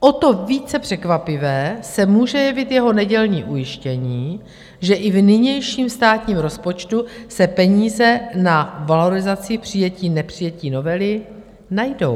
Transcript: O to více překvapivé se může jevit jeho nedělní ujištění, že i v nynějším státním rozpočtu se peníze na valorizaci přijetí nepřijetí novely najdou.